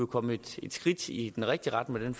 kommet et skridt i den rigtige retning med